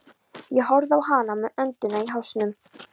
Ég horfði á hana með öndina í hálsinum.